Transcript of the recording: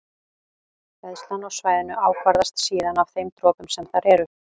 Hleðslan á svæðinu ákvarðast síðan af þeim dropum sem þar eru.